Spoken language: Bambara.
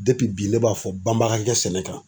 bi bi ne b'a fɔ banba ga kɛ sɛnɛ kan.